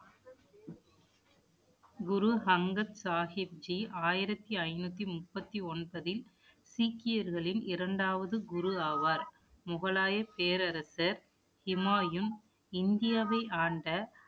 குரு அங்கத் சாகிப்ஜி ஆயிரத்தி ஐந்நூத்தி முப்பத்தி ஒன்பதில் சீக்கியர்களின் இரண்டாவது குரு ஆவார் முகலாய பேரரசர் ஹூமாயுன் இந்தியாவை ஆண்ட